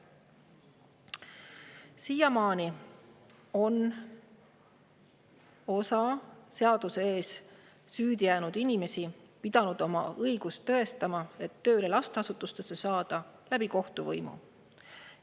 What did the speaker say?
Senimaani on osa seaduse ees süüdi jäänud inimesi pidanud oma õigust lasteasutusse tööle saada tõestama kohtu kaudu.